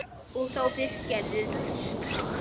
Og þá fyrst gerðist það.